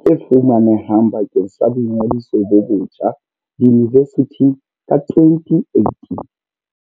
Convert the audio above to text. tse fumane hang bakeng sa boingodiso bo ntjha diyunivesithing ka 2018.